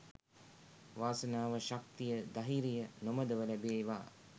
වාසනාව ශක්තිය දහිරිය නොමදව ලැබේවා.